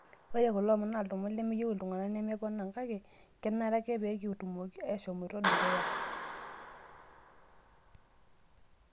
Ore kulo omon naa lomon lemeyieu iilntung'ana nemeponaa kake kenare ake peekitumoki ashomoita dukuya